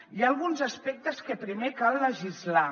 hi ha alguns aspectes que primer cal legislar